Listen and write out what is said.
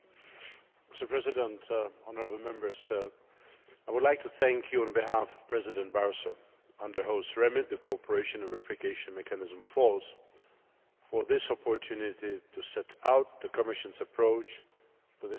Mr President, honourable Members, I would like to thank you on behalf of President Barroso, under whose remit the cooperation and verification mechanism falls, for this opportunity to set out the Commission's approach to this measure.